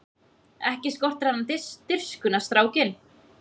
Ekki skortir hann dirfskuna strákinn!